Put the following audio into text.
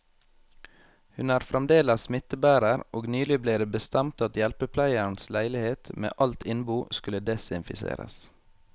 Hun er fremdeles smittebærer, og nylig ble det bestemt at hjelpepleierens leilighet med alt innbo skulle desinfiseres.